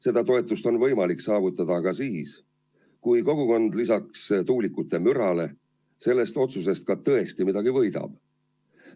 Seda toetust on võimalik saavutada siis, kui kogukond lisaks tuulikute mürale sellest otsusest tõesti midagi ka võidab.